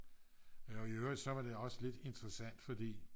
og i øvrigt så var det også lidt interessant fordi